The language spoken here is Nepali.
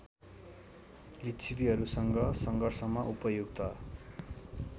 लिच्छविहरूसँग सङ्घर्षमा उपयुक्त